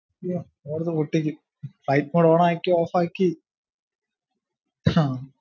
യ്യോ എടുത്തു പൊട്ടിക്കും ഐഫോൺ on ആക്കി off ആക്കി